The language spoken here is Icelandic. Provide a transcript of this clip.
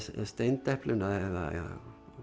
steindepluna eða